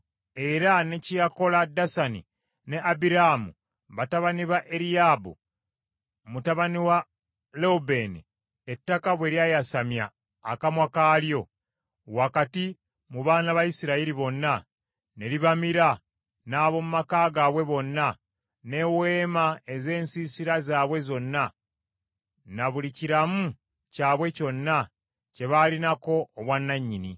era ne kye yakola Dasani ne Abiraamu batabani ba Eriyaabu, mutabani wa Lewubeeni, ettaka bwe lyayasamya akamwa kaalyo, wakati mu baana ba Isirayiri bonna, ne libamira n’ab’omu maka gaabwe bonna, n’eweema ez’ensiisira zaabwe zonna, ne buli kiramu kyabwe kyonna kye baalinako obwannannyini.